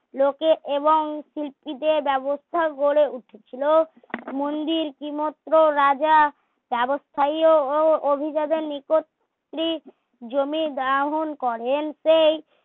লোকে এবং কুলপিতে ব্যবস্থা গড়ে উঠেছিল মন্দির কিমত্র রাজা চারস্থায়ীও ও অভিজাদের নিকটস্ট্রি জমি গ্রহণ করেন